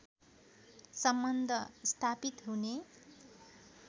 सम्बन्ध स्थापित हुने